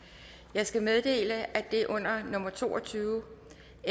jeg skal meddele at det under nummer to og tyve